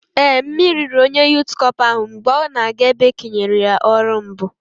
Ee, mmiri riri onye Yụt Cọpa ahụ mgbe ọ na-aga ebe e kenyere ya ọrụ mbụ